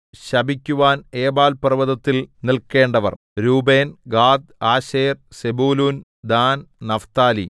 ശപിക്കുവാൻ ഏബാൽപർവ്വതത്തിൽ നില്ക്കേണ്ടവർ രൂബേൻ ഗാദ് ആശേർ സെബൂലൂൻ ദാൻ നഫ്താലി